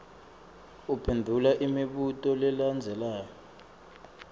uphendvula imibuto lelandzelako